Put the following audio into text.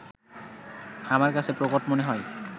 আমার কাছে প্রকট মনে হয়